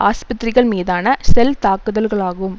ஆஸ்பத்திரிகள் மீதான ஷெல் தாக்குதல்களாகும்